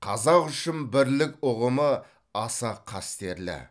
қазақ үшін бірлік ұғымы аса қастерлі